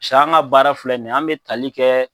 Sa an ga baara filɛ nin ye an be tali kɛɛ